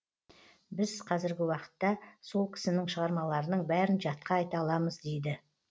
біз қазіргі уақытта сол кісінің шығармаларының бәрін жатқа айта аламыз дейді